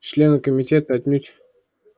члены комитета отнюдь